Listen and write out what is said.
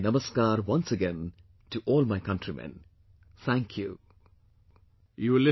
My namaskar once again to all my countrymen, Thank You